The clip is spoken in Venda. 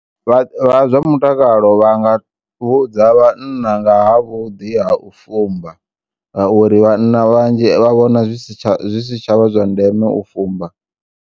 Vha vha zwamutakalo vhanga vhudza vhanna ngaha vhuḓi ha u fumba ngauri vhanna vhanzhi vha vhona zwisi tsha zwisi tsha vha zwandeme u fumba.